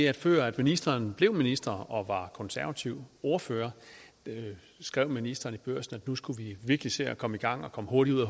at før ministeren blev minister og var konservativ ordfører skrev ministeren i børsen at nu skulle vi virkelig se at komme i gang og komme hurtigt ud af